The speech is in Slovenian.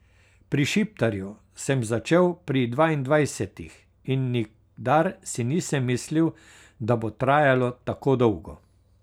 Pri Šiptarju sem začel pri dvaindvajsetih in nikdar si nisem mislil, da bo trajalo tako dolgo.